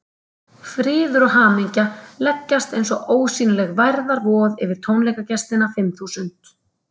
Friður og hamingja leggjast eins og ósýnileg værðarvoð yfir tónleikagestina fimm þúsund.